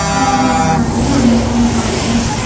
Clinic అని అనుకుంటాను.